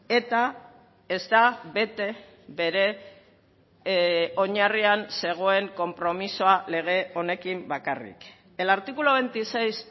eta ez da bete bere oinarrian zegoen konpromisoa lege honekin bakarrik el artículo veintiséis